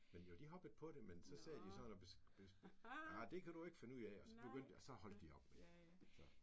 Men jo de hoppede på det men så sad sådan og ah det kan du ikke finde ud af og så begyndt og så holdt de op med det altså